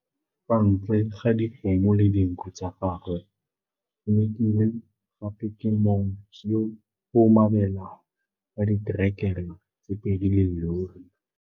Kwa ntle ga dikgomo le dinku tsa gagwe, Thumekile gape ke mong yo o mabela wa diterekere tse pedi le llori.